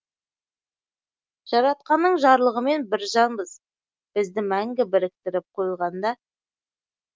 жаратқанның жарлығымен бір жанбыз бізді мәңгі біріктіріп қойған да